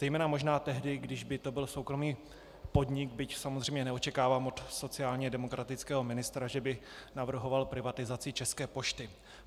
Zejména možná tehdy, když by to byl soukromý podnik, byť samozřejmě neočekávám od sociálně demokratického ministra, že by navrhoval privatizaci České pošty.